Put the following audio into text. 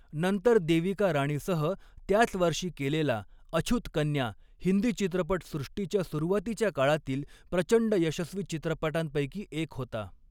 नंतर देविका राणीसह त्याच वर्षी केलेला 'अछूत कन्या' हिंदी चित्रपटसृष्टीच्या सुरुवातीच्या काळातील प्रचंड यशस्वी चित्रपटांपैकी एक होता.